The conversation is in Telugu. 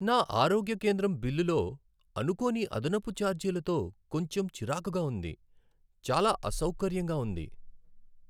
నా ఆరోగ్య కేంద్రం బిల్లులో అనుకోని అదనపు ఛార్జీలతో కొంచెం చిరాకుగా ఉంది, చాలా అసౌకర్యంగా ఉంది.